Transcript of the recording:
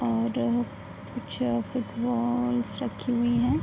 और कुछ फुटबॉल्स रखी हुई है।